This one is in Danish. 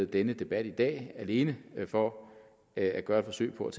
denne debat i dag alene for at gøre et forsøg på at